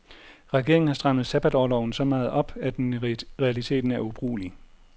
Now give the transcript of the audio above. Regeringen har strammet sabbatorloven så meget op, at den i realiteten er ubrugelig.